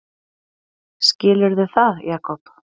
Skilurðu það, Jakob?